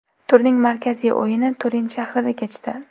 Turning markaziy o‘yini Turin shahrida kechdi.